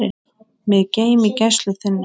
Mig geym í gæslu þinni.